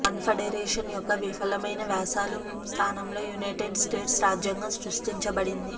confederation యొక్క విఫలమైన వ్యాసాలు స్థానంలో యునైటెడ్ స్టేట్స్ రాజ్యాంగం సృష్టించబడింది